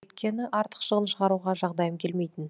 өйткені артық шығын шығаруға жағдайым келмейтін